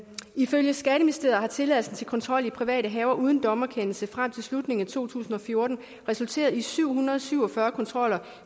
ifølge skatteministeriet har tilladelsen til kontrol i private haver uden dommerkendelse frem til slutningen af to tusind og fjorten resulteret i syv hundrede og syv og fyrre kontroller